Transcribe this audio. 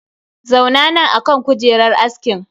Zauna nan akan kujerar askin!